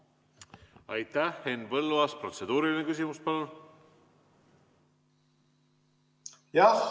Henn Põlluaas, protseduuriline küsimus, palun!